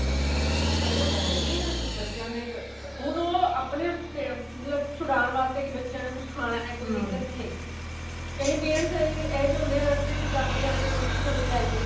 ਉਹ ਤਾ ਹੈ ਈ ਏ ਬੱਚਿਆ ਦੇ ਹੁਣ ਉਹ ਆਪਣੇ ਮਤਲਬ ਛੁਡਾਨ ਵਾਸਤੇ ਕਿ ਬੱਚਿਆ ਨੇ ਕੁੱਛ ਖਾਣਾ ਕੋਈ ਦਿੱਕਤ ਨਹੀਂ ਹੈਗੀ ਕਈ parents ਨੇ ਜੋ ਅਹਿਜੇ ਹੁੰਦੇ ਨੇ ਰਸਤੇ ਚ ਜਾਂਦੇ ਜਾਂਦੇ ਕੁਲਚੇ ਛੋਲੇ ਲੈ ਲਏ